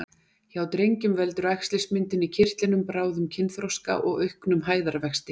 Hjá drengjum veldur æxlismyndun í kirtlinum bráðum kynþroska og auknum hæðarvexti.